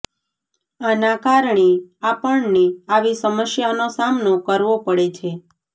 આના કારણે આપણને આવી સમસ્યાનો સામનો કરવો પડે છે